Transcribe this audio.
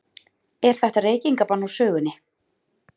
Er þetta reykingabann úr sögunni?